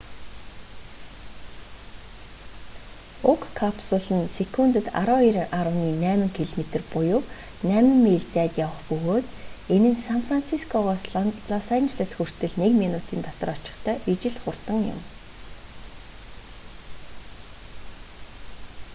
уг капсул нь секундэд 12,8 км буюу 8 миль зайд явах бөгөөд энэ нь сан францискогоос лос анжелос хүртэл нэг минутын дотор очихтой ижил хурдан юм